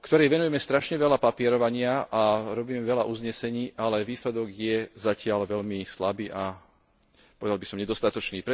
Venujeme jej strašne veľa papierovania a robíme veľa uznesení, ale výsledok je zatiaľ veľmi slabý a, povedal by som, nedostatočný.